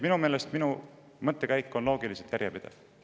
Minu meelest on minu mõttekäik loogiliselt järjepidev.